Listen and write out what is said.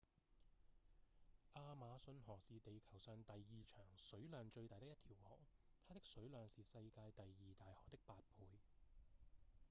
亞馬遜河是地球上第二長、水量最大的一條河它的水量是世界第二大河的八倍